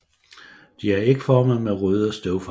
De er ægformede med røde støvfang